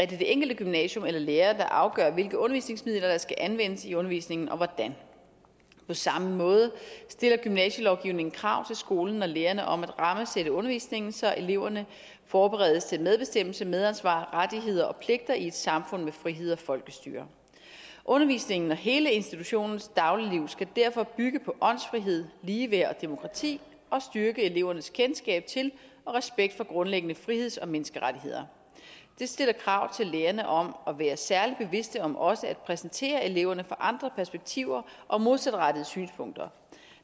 det enkelte gymnasium eller lærer der afgør hvilke undervisningsmidler der skal anvendes i undervisningen og hvordan på samme måde stiller gymnasielovgivningen krav til skolen og lærerne om at rammesætte undervisningen så eleverne forberedes til medbestemmelse medansvar rettigheder og pligter i et samfund med frihed og folkestyre undervisningen og hele institutionens dagligliv skal derfor bygge på åndsfrihed ligeværd og demokrati og styrke elevernes kendskab til og respekt for grundlæggende friheds og menneskerettigheder det stiller krav til lærerne om at være særlig bevidste om også at præsentere eleverne for andre perspektiver og modsatrettede synspunkter